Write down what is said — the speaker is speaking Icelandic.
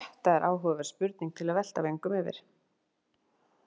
Þetta er áhugaverð spurning til að velta vöngum yfir.